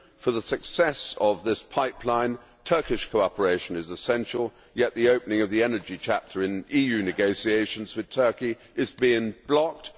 For the success of this pipeline, Turkish cooperation is essential, yet the opening of the energy chapter in EU negotiations with Turkey is being blocked.